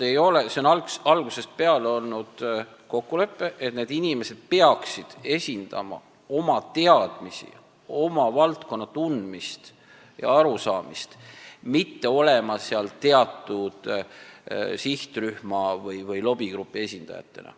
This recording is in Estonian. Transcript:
Algusest peale on olnud kokkulepe, et need inimesed peaksid esindama oma teadmisi, oma valdkonna tundmist ja arusaamist, mitte olema seal teatud sihtrühma või lobigrupi esindajatena.